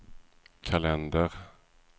kalender